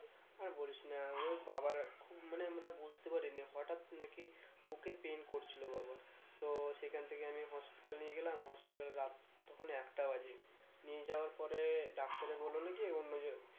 আর বলিস না ওই বাবার খুব মানে আমরা বুঝতে পারি নি হঠাৎ নাকি বুকে pain করছিলো বাবার তো সেখান থেকে আমি hospital নিয়ে গেলাম hospital রাত তখন একটা বাজে নিয়ে যাওয়ার পরে ডাক্তারে বললো নাকি অন্য জো